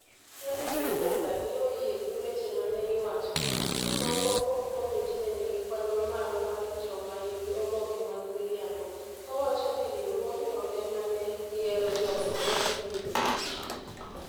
Felix Milinga ne oyie gi weche ma ne iwacho ni moko kuom Komiti ne nigi kwan mamalo mar joma nigi oboke mag miriambo, kowacho ni riwruogno ema ne yiero jogo ma ne dhi yudo tich.